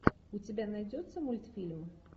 у тебя найдется мультфильм